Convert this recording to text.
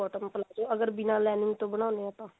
bell bottom palazzo ਅਗਰ ਬਿਨਾ lining ਤੋਂ ਬਣਾਉਂਦੇ ਹਾਂ ਤਾਂ